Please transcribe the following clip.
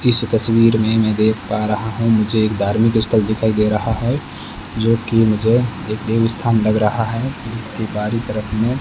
इस तस्वीर में मैं देख पा रहा हूं मुझे एक धार्मिक स्थल दिखाई दे रहा है जो कि मुझे एक देव स्थान लग रहा है जिसके बाहरी तरफ में --